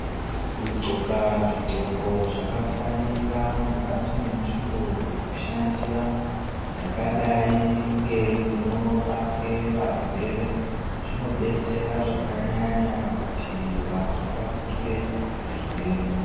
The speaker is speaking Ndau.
Kudhxoka zvidhxoko zvakafanira mukati menzvimbo dzekushandira dzakadai ngemunorapwe varwere zvinodetsera zvakanyanya kuti vasatapukire zvirwere.